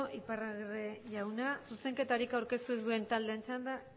iparragirre jauna zuzenketarik aurkeztu ez duen taldeen txanda